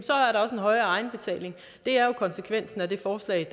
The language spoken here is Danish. højere egenbetaling det er jo konsekvensen af det forslag